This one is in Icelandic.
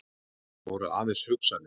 En þetta voru aðeins hugsanir.